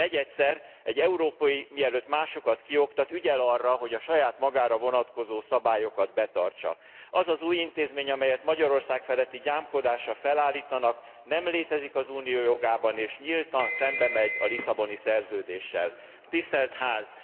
Negyedszer, egy európai, mielőtt másokat kioktat, ügyel arra, hogy a saját magára vonatkozó szabályokat betartsa. Az az új intézmény, amelyet Magyarország feletti gyámkodásra felállítanak nem létezik az Unió jogában és nyíltan szembemegy a Lisszaboni Szerződéssel. Tisztelt